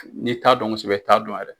N'i t'a dɔn kosɛbɛ i t'a dɔn yɛrɛ de.